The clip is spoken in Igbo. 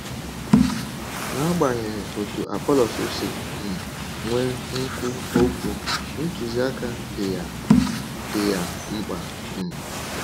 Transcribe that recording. N’agbanyeghị otú Apọlọs si um nwee nkwu okwu, ntụziaka dị ya dị ya mkpa. um